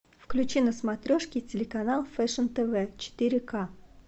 включи на смотрешке телеканал фэшн тв четыре к